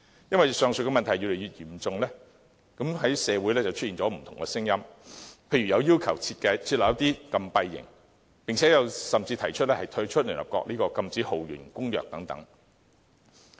因為問題越來越嚴重，社會出現不同的聲音，例如要求設立禁閉營，甚至提出退出聯合國《禁止酷刑公約》等。